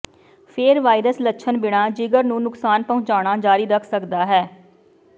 ਫੇਰ ਵਾਇਰਸ ਲੱਛਣ ਬਿਨਾ ਜਿਗਰ ਨੂੰ ਨੁਕਸਾਨ ਪਹੁੰਚਾਉਣਾ ਜਾਰੀ ਰੱਖ ਸਕਦਾ ਹੈ